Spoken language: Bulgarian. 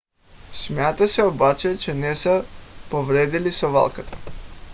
смята се обаче че не са повредили совалката